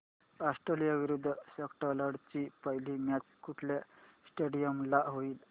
Australia विरुद्ध Scotland ची पहिली मॅच कुठल्या स्टेडीयम ला होईल